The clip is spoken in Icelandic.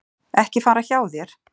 Ekki fara hjá þér.